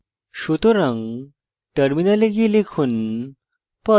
সুতরাং terminal গিয়ে লিখুন